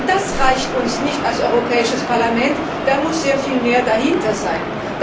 Das reicht uns als Europäisches Parlament nicht, da muss sehr viel mehr dahinter sein.